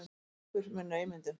Sleppur með naumindum.